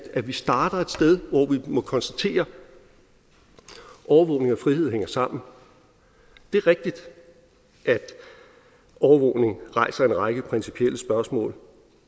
at vi starter et sted hvor vi må konstatere at overvågning og frihed hænger sammen det er rigtigt at overvågning rejser en række principielle spørgsmål